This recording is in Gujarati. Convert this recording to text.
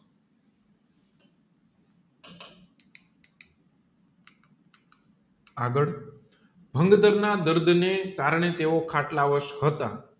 આગળ દર્દને કારણે તેઓ ખાટ્લા વાસ હતા